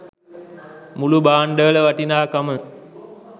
මුළු භාණ්ඩවල වටිනාකම